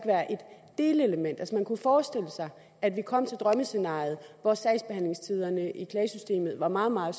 delelement altså man kunne forestille sig at vi kom frem til drømmescenariet hvor sagsbehandlingstiderne i klagesystemet var meget meget